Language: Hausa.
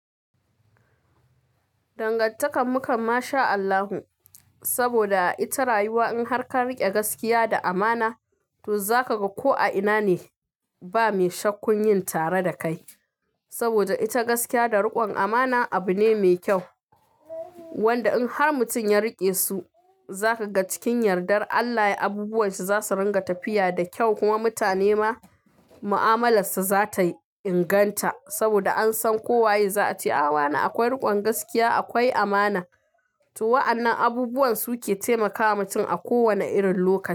Dangantakar mu kam mashaAllahu saboda ita rayuwa in har ka rike gaskiya da amana to za ka ga ko a ina ne ba mai sha kunya tare da kai. Saboda ita gaskiya da rikon amana abu ne mai kyau wanda in har mutum ya rike su za ka ga cikin yardar Allah abubuwan shi za su ranga tafiya da kyau kuma mutane ma ma'amalarsa za ta inganta. Saboda an san kowa ya ce a wa na akwai rikon gaskiya, akwai amana to wa'annan abubuwan su ke taimakawa mutum a kowane irin lokaci.